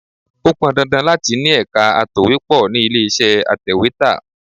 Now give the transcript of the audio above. Ó pọn dandan láti ni ẹ̀ka atòwépó ni ilé iṣẹ́ atèwétà.